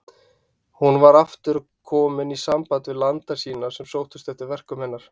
Hún var aftur komin í samband við landa sína sem sóttust eftir verkum hennar.